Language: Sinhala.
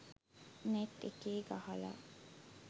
නෙට් එකේ ගහලා